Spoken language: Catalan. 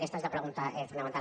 aquesta és la pregunta fonamental